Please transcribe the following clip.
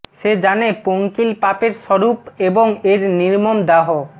সে জানে পঙ্কিল পাপের স্বরূপ এবং এর নির্মম দাহ